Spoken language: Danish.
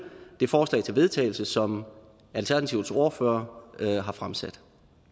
det forslag til vedtagelse som alternativets ordfører har fremsat